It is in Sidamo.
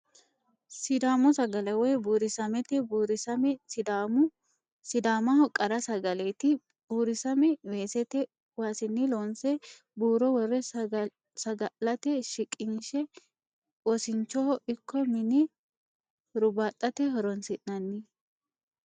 Sidaamu sagale woyi buurisamete, buurisame sidaamaho qara sagaleeti, buurisamme weesete waasinni loo'nse buuro wo're saga'late shiqinshe wosi'nchoho ikko mine huribaxate horonsinanni